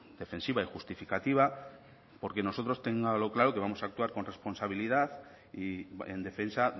defensiva y justificativa porque nosotros téngalo claro que vamos actuar con responsabilidad y en defensa